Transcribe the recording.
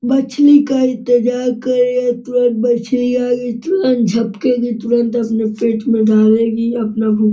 मछली का इंतज़ार कर रहे तुरंत मछली आई तुरंत झपकेगी तुरंत अपने पेट में डालेगी अपना भूख --